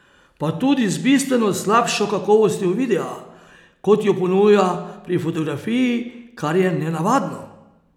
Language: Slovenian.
Pa tudi z bistveno slabšo kakovostjo videa, kot jo ponuja pri fotografiji, kar je nenavadno.